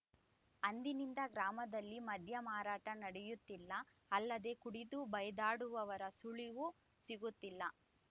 ಅಂದಿನಿಂದ ಗ್ರಾಮದಲ್ಲಿ ಮದ್ಯ ಮಾರಾಟ ನಡೆಯುತ್ತಿಲ್ಲ ಅಲ್ಲದೇ ಕುಡಿದು ಬೈದಾಡುವವರ ಸುಳಿವೂ ಸಿಗುತ್ತಿಲ್ಲ